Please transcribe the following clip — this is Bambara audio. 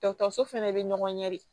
Dɔgɔtɔrɔso fɛnɛ bɛ ɲɔgɔn ɲɛ de